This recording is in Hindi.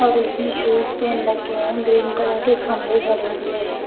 और उसने शूज पेन रखे है ग्रीन कलर के खम्बे खड़े हुए है।